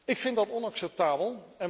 Ik vind dat onacceptabel